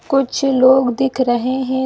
कुछ लोग दिख रहें हैं।